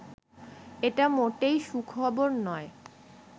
এটা মোটেই সুখবর নয়